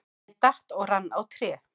Ég datt og rann á tré.